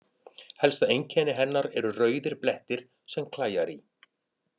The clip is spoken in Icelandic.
Helsta einkenni hennar eru rauðir blettir sem klæjar í.